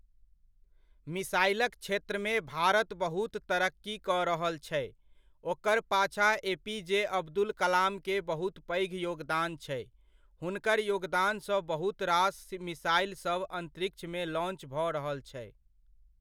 मिसाइलक क्षेत्रमे भारत बहुत तरक्की कऽ रहल छै, ओकर पाछा एपीजे अब्दुल कलामकेँ बहुत पैघ योगदान छै, हुनकर योगदान सँ बहुत रास मिसाइलसभ अन्तरिक्षमे लॉन्च भऽ रहल छै।